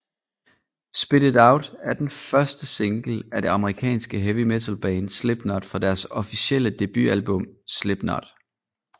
Spit it Out er den første single af det amerikanske heavy metal band Slipknot fra deres officielle debutalbum Slipknot